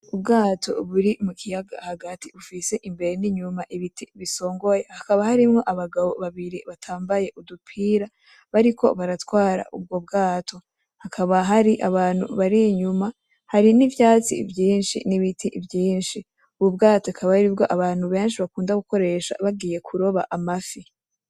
Ubwato buri mukiyaga hagati bufise imbere n'inyuma ibiti bisongoye, hakaba harimwo abagabo babiri batambaye udupira bariko baratwara ubwo bwato, hakaba hari abantu bari inyuma, hari n'ivyatsi vyinshi n'ibiti vyinshi, ubwo bwato akaba aribwo abantu benshi bakunda gukoresha bagiye kuroba amafi.